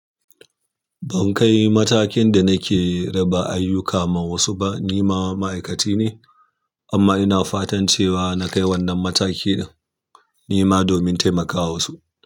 Ban kai matakin da nake raba ayyuka ma wasu ba, ni ma ma'aikaci ne amma ina fatan cewa na kai wannan mataki ɗin, ni ma domin taimakawa wasu.